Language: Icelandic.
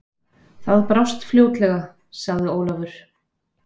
Það brást fljótlega, sagði Ólafur.